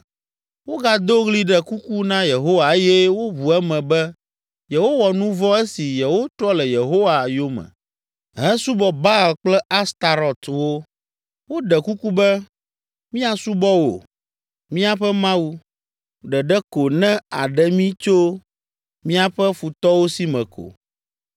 Wogado ɣli ɖe kuku na Yehowa eye woʋu eme be yewowɔ nu vɔ̃ esi yewotrɔ le Yehowa yome hesubɔ Baal kple Astarɔtwo. Woɖe kuku be, ‘Míasubɔ wò, míaƒe Mawu, ɖeɖe ko ne àɖe mí tso míaƒe futɔwo si me ko’